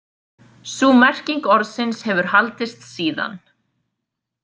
Sú merking orðsins hefur haldist síðan.